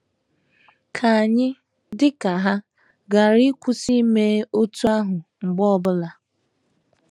Ka anyị, dị ka ha,, ghara ịkwụsị ime otú ahụ mgbe ọ bụla.